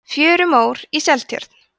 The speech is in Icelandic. fjörumór í seltjörn